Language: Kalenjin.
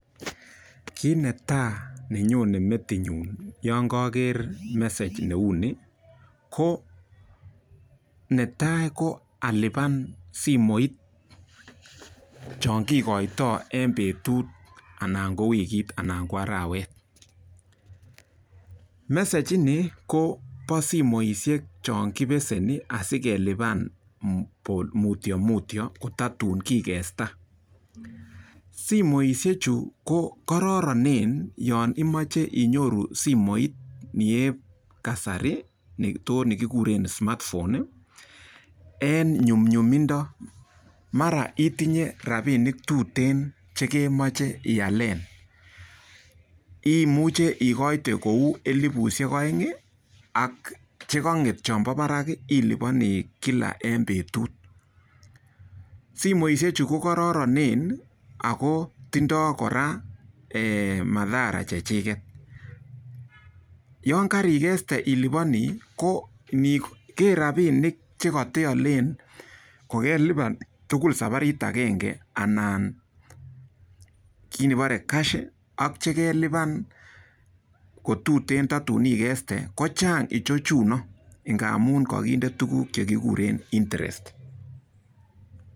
Kit netai nenyonei metinyu yekaker mesage ko netai ko alipan simoit cho kikoitoi eng petut anan eng wiki anan eng arawet. Mesage ini kobo simishek chon kibeseni asikelipan ko mutimutio tatun kigesta. Simoishechu ko kororonen yon imoche inyoru simoit nep kasari nekigure smart phone en nyumnyumindo mara koketinye rapinik tuteen chekemache ialen. Imuche ikoite kou elipushek oeng ako chekang'et chonbo barak ilipani kila eng petut, Simoishechu ko kororonen ako tindoi kora mathara chechiket. Yon karikeste ilipani ko niker rapinik che kateole kokelipan tugul saparit agenge ana kit nekiporei cash ko chang ichechu amun kakinde tukuk chekiguren interest